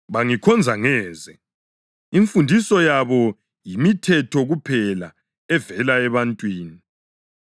Bangikhonza ngeze; imfundiso yabo yimithetho kuphela evela ebantwini.’ + 7.7 U-Isaya 29.13